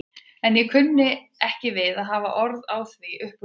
En ég kunni ekki við að hafa orð á því upp úr þurru.